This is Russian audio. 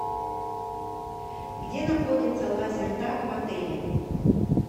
где находится лазертаг в отеле